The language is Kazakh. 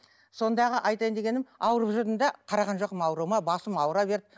сондағы айтайын дегенім ауырып жүрдім де қараған жоқпын ауруыма басым аура берді